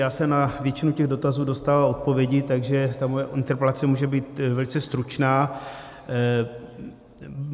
Já jsem na většinu těch dotazů dostal odpovědi, takže ta moje interpelace může být velice stručná.